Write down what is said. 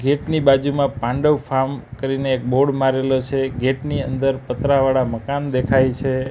Gate ની બાજુમાં Pandav farm કરીને એક બોર્ડ મારેલો છે ગેટ ની અંદર પતરાવાળા મકાન દેખાય છે.